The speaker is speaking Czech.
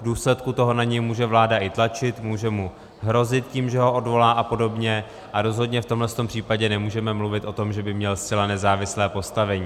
V důsledku toho na něj může vláda i tlačit, může mu hrozit tím, že ho odvolá a podobně, a rozhodně v tomhle případě nemůžeme mluvit o tom, že by měl zcela nezávislé postavení.